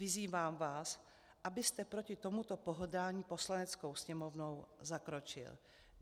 Vyzývám vás, abyste proti tomuto pohrdání Poslaneckou sněmovnou zakročil.